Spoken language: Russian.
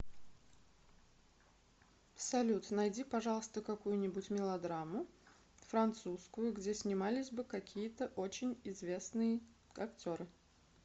салют найди пожалуйста какую нибудь мелодраму французскую где снимались бы какие то очень известные актеры